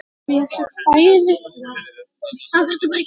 Þín, Unnur Björg.